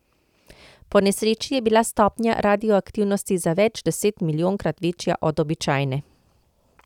Po nesreči je bila stopnja radioaktivnosti za več deset milijonkrat večja od običajne.